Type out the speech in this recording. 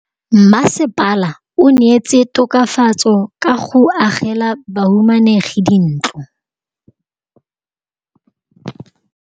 Mmasepala o neetse tokafatsô ka go agela bahumanegi dintlo.